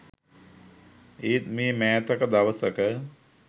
ඒත් මේ මෑතක දවසක